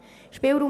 Spielraum